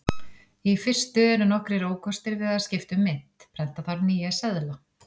Í fyrstu eru nokkrir ókostir við að skipta um mynt: Prenta þarf nýja seðla.